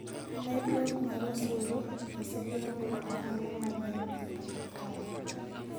Medruok mar osuru osegeng`o ohala mathoth e pacho kae